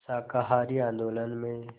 शाकाहारी आंदोलन में